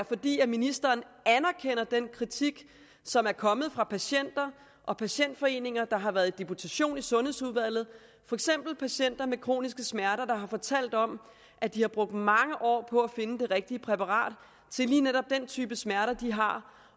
fordi ministeren anerkender den kritik som er kommet fra patienter og patientforeninger der har været i deputation i sundhedsudvalget for eksempel patienter med kroniske smerter der har fortalt om at de har brugt mange år på at finde det rigtige præparat til lige netop den type smerter de har